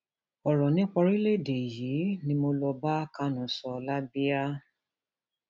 ọrọ nípa orílẹèdè yìí ni mo um lọọ bá kánú sọ lẹàbíà um